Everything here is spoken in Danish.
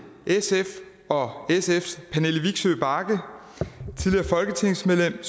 sf og sfs tidligere folketingsmedlem